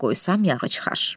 Bura qoysam yağı çıxar.